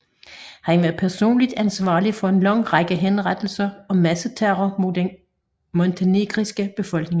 Han var personligt ansvarlig for en lang række henrettelser og masseterror mod den montenegrinske befolkning